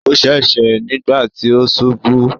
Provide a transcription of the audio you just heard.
Ó ṣèṣe nígbà tí ó ṣubú.